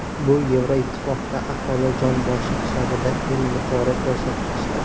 Bu Yevroittifoqda aholi jon boshi hisobida eng yuqori ko‘rsatkichdir.